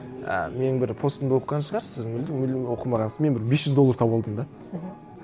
і менің бір постымды оқыған шығарсыз сіз мүлдем оқымағаңсыз мен бір бес жүз доллар тауып алдым да мхм